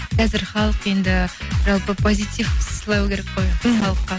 қазір халық енді жалпы позитив сыйлау керек қой мхм халыққа